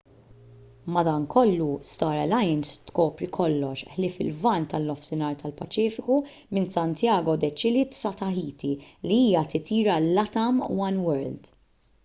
madankollu star alliance tkopri kollox ħlief il-lvant tan-nofsinhar tal-paċifiku minn santiago de chile sa tahiti li hija titjira latam oneworld